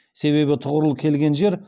себебі тұғырыл келген жер